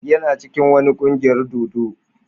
Yana cikin wani kungiyar dodo.